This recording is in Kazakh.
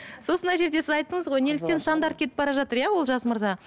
сосын мына жерде сіз айттыңыз ғой неліктен стандарт кетіп бара жатыр иә олжас мырза